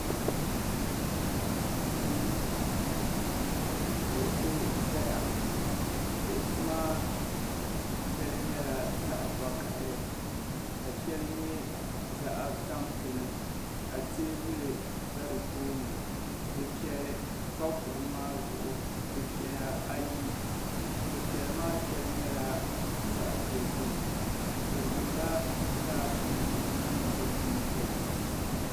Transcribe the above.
Duu ni ka kuɣusi zaya kuɣusi maa shɛli nyɛla zaɣ'vakahili ka shɛli nyɛ zaɣ'tampilim ka teebuli za di tooni dufɛli pa kuɣu maa zuɣu dufɛya ayi dufɛli maa shɛli nyɛla zaɣ'dozim bɛ zaŋla gilaasinima niŋ di punti.